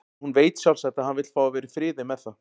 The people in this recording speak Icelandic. Hún veit sjálfsagt að hann vill fá að vera í friði með það.